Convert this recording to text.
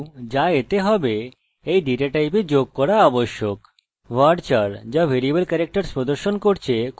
varchar যা variable characters প্রদর্শন করছে খুবই সাধারণ এটি খুব দরকারী এবং এর দৈর্ঘ্যের প্রয়োজন